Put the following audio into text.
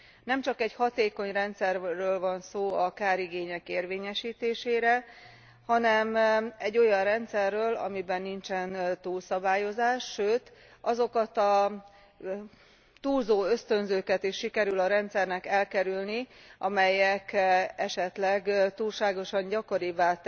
Nemcsak egy hatékony rendszerről van szó a kárigények érvényesítésére, hanem egy olyan rendszerről, amiben nincsen túlszabályozás, sőt azokat a túlzó ösztönzőket is sikerül a rendszernek elkerülni, amelyek esetleg túlságosan gyakorivá